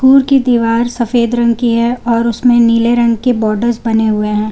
School की दीवार सफेद रंग की है और उसमें नीले रंग के बॉर्डर्स बने हुए हैं।